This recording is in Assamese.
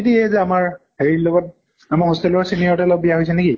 এই যে আমাৰ হেৰিৰ লগত আমাৰ hostel ৰ senior এটাৰ লগত বিয়া হৈছে নেকি?